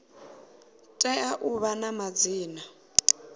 tea u vha na madzina